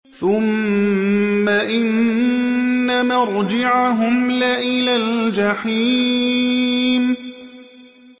ثُمَّ إِنَّ مَرْجِعَهُمْ لَإِلَى الْجَحِيمِ